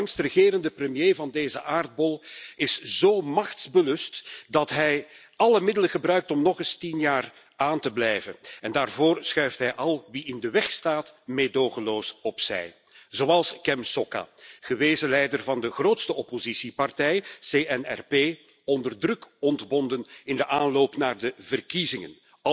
De langst regerende premier van deze aardbol is zo machtsbelust dat hij alle middelen gebruikt om nog eens tien jaar aan te blijven. Daarvoor schuift hij al wie in de weg staat meedogenloos opzij, zoals Kem Sokha, gewezen leider van de grootste oppositiepartij, CNRP, onder druk ontbonden in de aanloop naar de verkiezingen.